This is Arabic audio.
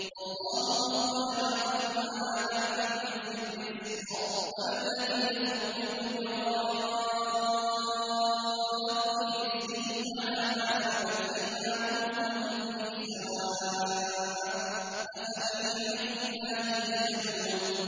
وَاللَّهُ فَضَّلَ بَعْضَكُمْ عَلَىٰ بَعْضٍ فِي الرِّزْقِ ۚ فَمَا الَّذِينَ فُضِّلُوا بِرَادِّي رِزْقِهِمْ عَلَىٰ مَا مَلَكَتْ أَيْمَانُهُمْ فَهُمْ فِيهِ سَوَاءٌ ۚ أَفَبِنِعْمَةِ اللَّهِ يَجْحَدُونَ